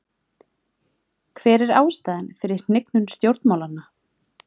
Hver er ástæðan fyrir hnignun stjórnmálanna?